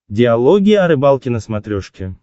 диалоги о рыбалке на смотрешке